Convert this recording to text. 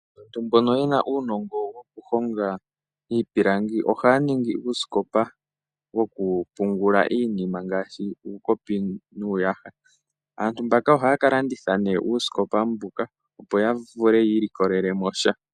Aantu mbono yena uunongo woku honga iipilangi ohaya ningi uusikopa woku pungula iinima ngaashi uukopi nuuyaha. Aantu mbaka ohaya ka landitha nee uusikopa mbuka opo ya vule yi ilikolele mosha.